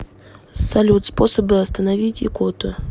салют способы остановить икоту